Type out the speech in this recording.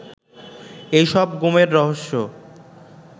এসব গুমের রহস্য